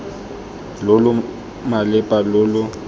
lo lo malepa lo lo